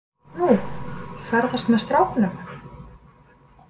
Nú, ferðast með strákunum.